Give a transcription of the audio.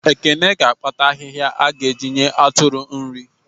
Ekene ga akpata ahịhịa a ga eji nye atụrụ nri